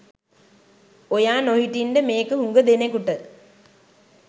ඔයා නොහිටින්ඩ මේක හුග දෙනෙකුට